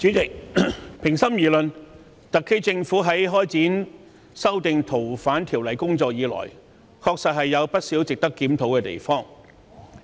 主席，平心而論，特區政府修訂《逃犯條例》的工作自開展以來，確有不少值得檢討的地方。